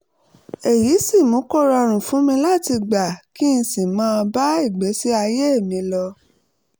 èyí sì mú kó rọrùn fún mi láti gbà á kí n sì máa bá ìgbésí ayé mi lọ